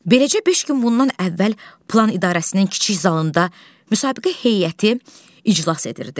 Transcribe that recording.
Beləcə beş gün bundan əvvəl plan idarəsinin kiçik zalında müsabiqə heyəti iclas edirdi.